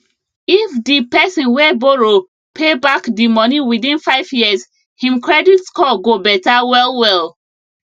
if the person wey borrow pay back the money within five years him credit score go better well well